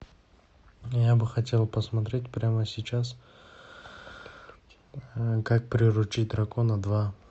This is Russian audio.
я бы хотел посмотреть прямо сейчас как приручить дракона два